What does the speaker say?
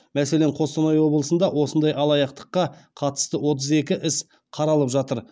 мәселен қостанай облысында осындай алаяқтыққа қатысты отыз екі іс қаралып жатыр